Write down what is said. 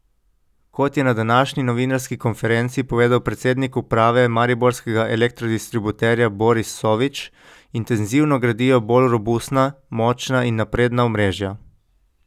Kot je na današnji novinarski konferenci povedal predsednik uprave mariborskega elektrodistributerja Boris Sovič, intenzivno gradijo bolj robustna, močna in napredna omrežja.